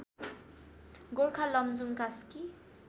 Gorkha Lamjung Kaski